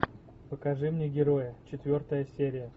покажи мне героя четвертая серия